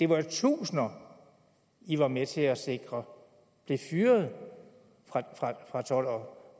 var jo tusinder i var med til at sikre blev fyret fra